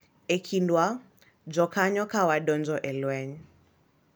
E kindwa jokanyo ka wadonjo e lweny.